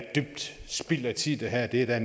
spild af tid det her det er